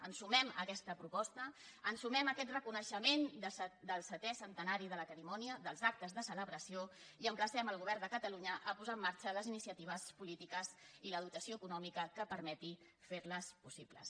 ens sumem a aquesta proposta ens sumem a aquest reconeixement del setè centenari de la querimònia dels actes de celebració i emplacem el govern de catalunya a posar en marxa les iniciatives polítiques i la dotació econòmica que permetin fer la possible